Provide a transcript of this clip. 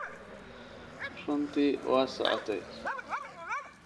Runtii waad socotay